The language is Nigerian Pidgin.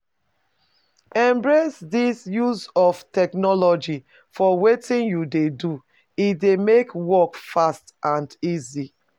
Embrace di use of technology for wetin you dey do, e dey make work fast and and easy